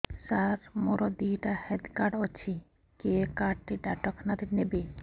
ସାର ମୋର ଦିଇଟା health card ଅଛି କେ କାର୍ଡ ଟି ଡାକ୍ତରଖାନା ରେ ନେବେ